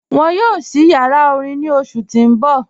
Wọn yóò sí yàrá orín ní ọṣù tí n bọ̀.